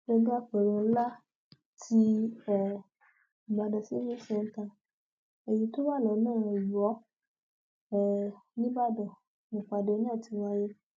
gbọngàn àpérò ńlá tí um ìbàdàn civic centre èyí tó wà lọnà iwọ um nìbàdàn nípàdé náà ti wáyé